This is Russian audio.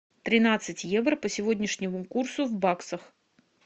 тринадцать евро по сегодняшнему курсу в баксах